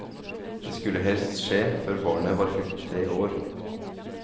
Dette skulle helst skje før barnet var fylt tre år.